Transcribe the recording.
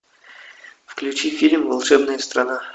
включи фильм волшебная страна